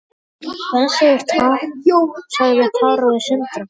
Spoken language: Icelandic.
Hvað sagði Tara við Sindra?